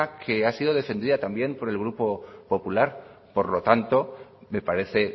que ha sido defendida también por el grupo popular por lo tanto me parece